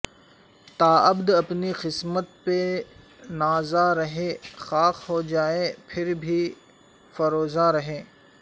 تاابد اپنی قسمت پہ نازاں رہیں خاک ہوجائیں پھر بھی فروزاں رہیں